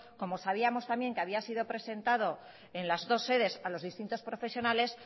como sabíamos también que había sido presentado en las dos sedes a los distintos profesionales